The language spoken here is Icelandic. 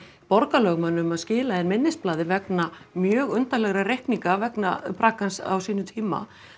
borgarlögmann um að skila inn minnisblaði vegna mjög undarlegra reikninga vegna braggans á sínum tíma